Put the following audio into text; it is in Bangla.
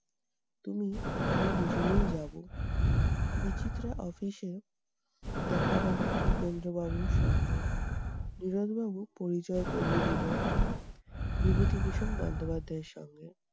তুমি আমি দুজনেই যাবো। বিচিত্রা office এ দেখা হলো উপেন্দ্র বাবুর সঙ্গে। নীরদ বাবু পরিচয় করিয়ে দিলেন বিভূতিভূষণ বন্দ্যোপাধ্যায় এর সঙ্গে।